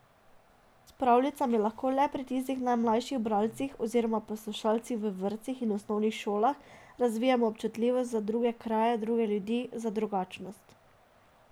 S pravljicami lahko le pri tistih najmlajših bralcih oziroma poslušalcih v vrtcih in osnovnih šolah razvijemo občutljivost za druge kraje, druge ljudi, za drugačnost ...